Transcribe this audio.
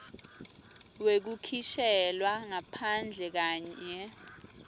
wekukhishelwa ngaphandle kanye